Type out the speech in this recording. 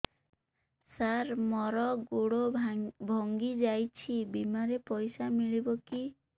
ସାର ମର ଗୋଡ ଭଙ୍ଗି ଯାଇ ଛି ବିମାରେ ପଇସା ମିଳିବ କି